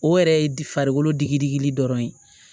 O yɛrɛ ye farikolo digi digili dɔrɔn ye